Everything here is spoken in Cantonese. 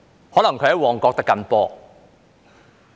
可能他在旺角"的緊波"。